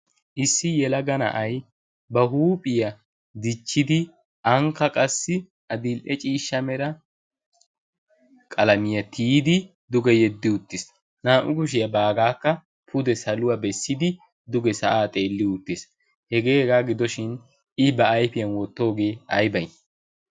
issi yelaga na'ay ba huuphiyaa dichchidi aanikka qassi adil"e ciishsha mera qalamiyaa tiyidi duge yeddi uttiis naa"u kushiyaa baagaakka pude saluwaa bessidi duge sa'aa xeelli uttiis hegee hegaa gidoshin i ba aifiyan wottoogee ay bay?